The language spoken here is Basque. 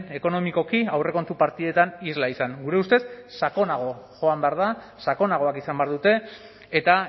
ekonomikoki aurrekontu partidetan isla izan gure ustez sakonago joan behar da sakonagoak izan behar dute eta